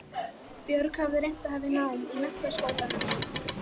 Björg hafði reynt að hefja nám í Menntaskólanum í